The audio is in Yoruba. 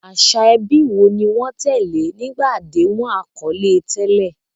Àṣà ẹbí wo ni wọ́n tẹ̀lé nígbà àdéhùn àkọlé tẹ́lẹ̀?